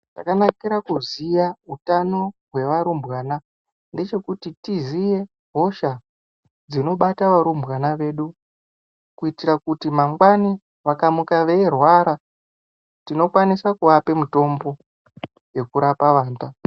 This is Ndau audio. Zvakanakira kuziya utano hwevarumbwana ndechekuti tiziye hosha dzinobata varumbwana vedu kuitira kuti mangwani vakamuka veirwara tinokwanisa kuvapa mitombo yekurapa vana.